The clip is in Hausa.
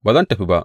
Ba zan tafi ba!